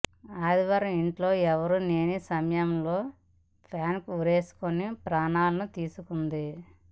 ఆదివారం ఇంట్లో ఎవరూ లేని సమయంలో ఫ్యాన్కు ఉరివేసుకుని ప్రాణాలను తీసుకుంది